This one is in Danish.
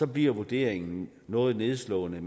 bliver vurderingen noget nedslående